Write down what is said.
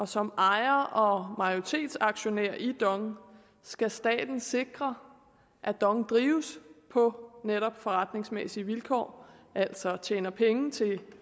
som ejer og majoritetsaktionær i dong skal staten sikre at dong drives på netop forretningsmæssige vilkår altså tjener penge til